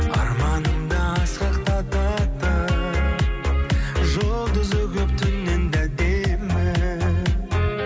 арманымды асқақтататын жұлдызы көп түннен де әдемі